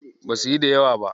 Basuyi da yawa ba.